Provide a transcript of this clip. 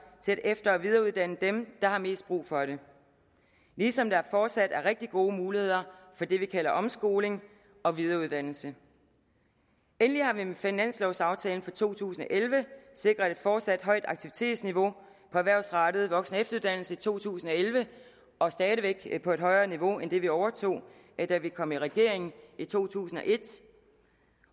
til at efter og videreuddanne dem der har mest brug for det ligesom der fortsat er rigtig gode muligheder for det vi kalder omskoling og videreuddannelse endelig har vi med finanslovaftalen for to tusind og elleve sikret et fortsat højt aktivitetsniveau på erhvervsrettet voksen og efteruddannelse i to tusind og elleve og stadig væk på et højere niveau end det vi overtog da vi kom i regering i to tusind og et